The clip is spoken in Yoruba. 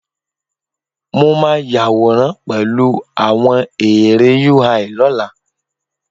Mo máa ya àwòrán pẹ̀lú àwọn ère UI lọ́la